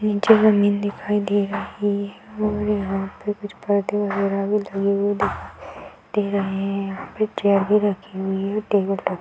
निचे जमीन दिखाई दे रही है और यहाँ पे कुछ पौधे वगेरा भी लगी हुई दिखाई दे रहे हैं | यहाँ पे चेयर भी रखी हुई है टेबल पर |